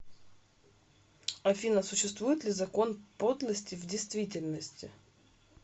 афина существует ли закон подлости в действительности